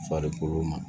Farikolo ma